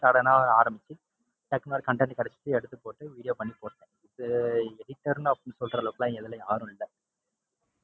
sudden ஆ ஆரம்பிச்சு டக்குன்னு ஒரு content கிடைச்சுது எடுத்து போட்டு video பண்ணி போட்டேன். இது editor அப்படின்னு சொல்ற அளவுக்கெல்லாம் இதுல யாரும் இல்லை.